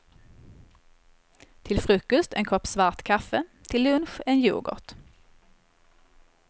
Till frukost en kopp svart kaffe, till lunch en yoghurt.